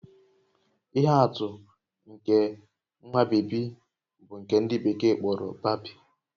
Ihe atụ nke nwa bébí bụ nke ndị bekee kpọrọ babii